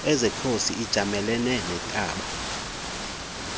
esekhosi ijamelene nentaba